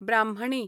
ब्राह्मणी